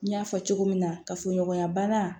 N y'a fɔ cogo min na kafoɲɔgɔnya bana